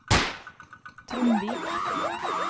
Tromvik